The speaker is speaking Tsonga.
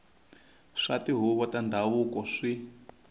swa tihuvo ta ndhavuko swi